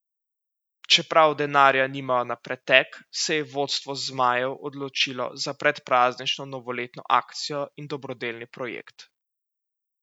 Čeprav denarja nimajo na pretek, se je vodstvo zmajev odločilo za predpraznično novoletno akcijo in dobrodelni projekt.